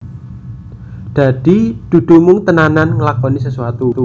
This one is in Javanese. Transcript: Dadi dudu mung tenanan nglakoni sesuatu